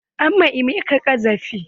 An ma emeka ƙazafi.